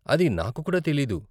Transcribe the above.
అది నాకు కూడా తెలియదు.